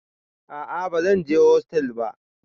A'a ba zan je hostel ba